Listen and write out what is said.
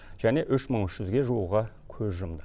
және үш мың үш жүзге жуығы көз жұмды